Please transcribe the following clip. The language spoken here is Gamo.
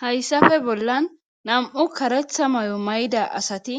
hayssafe bollan nam7u karetha may7o mayda asati